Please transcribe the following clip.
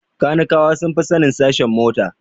Kanikawa sun fi sanin sashen mota